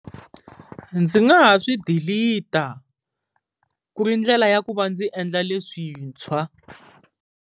Ndzi nga ha swi dilita ku ri ndlela ya ku va ndzi endla leswintshwa.